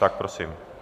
Tak prosím.